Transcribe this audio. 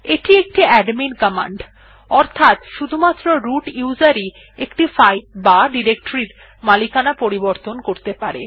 এটি একটি admin command অর্থাত শুধুমাত্র রুট উসের ই একটি ফাইল বা ডিরেকটরি এর মালিকানা পরিবর্তন করতে পারে